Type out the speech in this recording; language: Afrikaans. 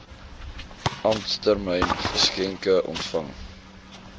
ampstermyn geskenke ontvang